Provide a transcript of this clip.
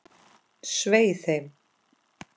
Svei þeim!